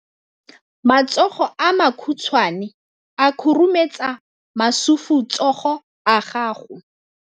Matsogo a makhutshwane a khurumetsa masufutsogo a gago.